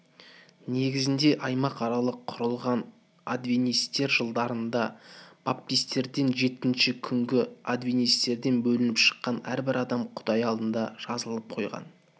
негізінде аймақаралық құрылған адвентистер жылдарында баптистерден жетінші күнгі адвентистер бөлініп шықты әрбір адам құдай алдында жазылып қойған